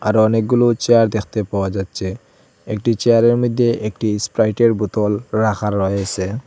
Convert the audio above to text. আরও অনেকগুলো চেয়ার দেখতে পাওয়া যাচ্চে একটি চেয়ারের মইদ্যে একটি স্প্রাইটের বোতল রাখা রয়েসে।